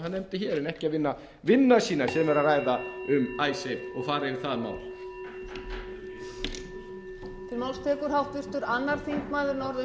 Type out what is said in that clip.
hann nefndi hér en ekki að vinna vinnuna sína sem er að ræða um icesave og fara yfir það mál